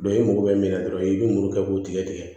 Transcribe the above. i mago bɛ min na dɔrɔn i bɛ muru kɛ k'o tigɛ tigɛ